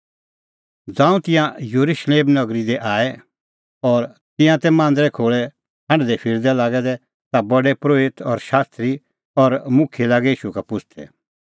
ज़ांऊं तिंयां येरुशलेम नगरी दी आऐ और तिंयां तै मांदरे खोल़ै हांढदैफिरदै लागै दै ता प्रधान परोहित शास्त्री और मुखियै लागै ईशू का पुछ़दै